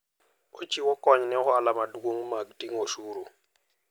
Ochiwo kony ne ohala maduong' mag ting'o osuru.